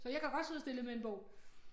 Så jeg kan godt sidde stille med en bog